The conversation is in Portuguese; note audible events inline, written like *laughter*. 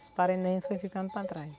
Os parentes *unintelligible* foi ficando para trás.